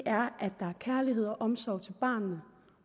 er kærlighed og omsorg til barnet